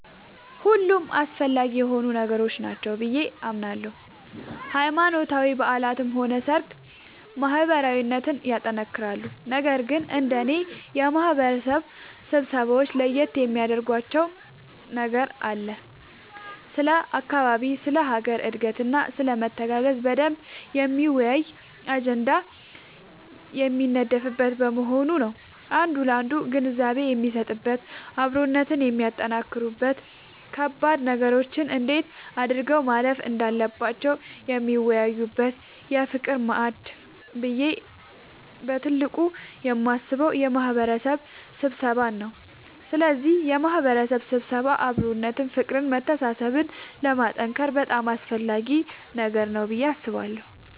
ሁሉም አስፈላጊ የሆኑ ነገሮች ናቸው ብዬ አምናለሁ ሃይማኖታዊ በዓላትም ሆነ ሰርግ ማህበራዊነትን ያጠነክራሉ ነገር ግን እንደኔ የማህበረሰብ ስብሰባወች ለየት የሚያደርጋቸው ነገር ስለ አካባቢ ስለ ሀገር እድገትና ስለመተጋገዝ በደንብ የሚያወያይ አጀንዳ የሚነደፍበት መሆኑ ነዉ አንዱ ላንዱ ግንዛቤ የሚሰጥበት አብሮነትን የሚያጠነክሩበት ከባድ ነገሮችን እንዴት አድርገው ማለፍ እንዳለባቸው የሚወያዩበት የፍቅር ማዕድ ብዬ በትልቁ የማስበው የማህበረሰብ ስብሰባን ነዉ ስለዚህ የማህበረሰብ ስብሰባ አብሮነትን ፍቅርን መተሳሰብን ለማጠንከር በጣም አስፈላጊ ነገር ነዉ ብዬ አስባለሁ።